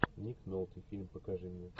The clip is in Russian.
ник нолти фильм покажи мне